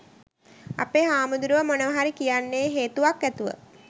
අපේ හාමුදුරුවෝ මොනවා හරි කියන්නේ හේතුවක් ඇතුව.